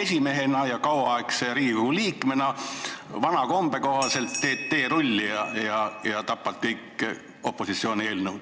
esimehena ja kauaaegse Riigikogu liikmena vana kombe kohaselt teed teerulli ja tapad kõik opositsiooni eelnõud.